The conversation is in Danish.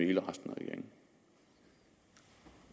hele resten